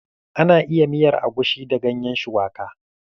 Ana iya miyan agushi da gayen shuwaka.